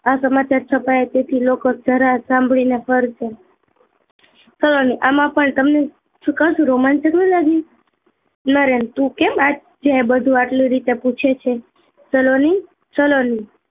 આ સમાચાર છપાયા તેથી લોકો સાંભળી ને ફરી ને સલોની આમાં પણ તમને સુકાશું રોમાંચક નહી લાગ્યું નરેન તું કેમ આજે આટલું બધું આટલી રીતે પૂછે છે